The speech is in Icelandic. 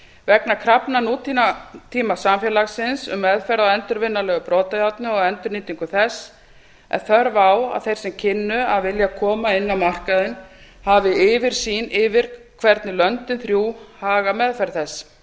vegna krafna nútímasamfélagsins um meðferð á endurvinnanlegu brotajárni og endurnýtingu þess er þörf á að þeir sem kynnu að vilja koma inn á markaðinn hafi yfirsýn yfir hvernig löndin þrjú haga meðferð þess